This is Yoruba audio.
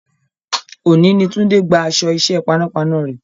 Òní ni Tunde gba aṣọ iṣẹ́ panápaná rẹ̀